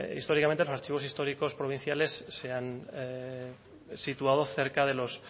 históricamente los archivos históricos provinciales se han situado cerca de los